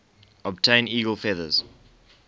obtain eagle feathers